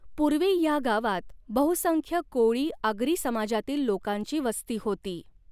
पुर्वी ह्या गावात बहुसंख्य कोळी आगरी समाजातील लोकांची वस्ती होती.